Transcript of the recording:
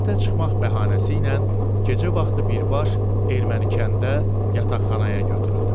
Həyətə çıxmaq bəhanəsi ilə gecə vaxtı birbaşa erməni kəndə yataqxanaya götürüldüm.